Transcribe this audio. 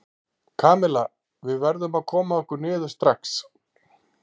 Kamilla, við verðum að koma okkur niður strax.